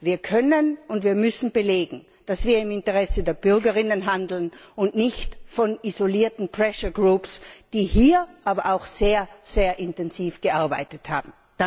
Wir können und wir müssen belegen, dass wir im Interesse der Bürgerinnen handeln und nicht von isolierten pressure groups die hier aber auch sehr intensiv gearbeitet haben.